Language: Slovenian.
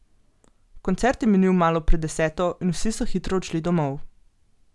Koncert je minil malo pred deseto, in vsi so hitro odšli domov.